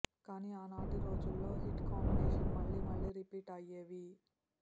కానీ ఆనాటి రోజుల్లో హిట్ కాంబినేషన్ మళ్లీ మళ్లీ రిపీట్ అయ్యేవి